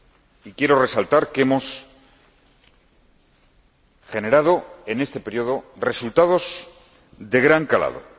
Y quiero resaltar que hemos generado en este período resultados de gran calado.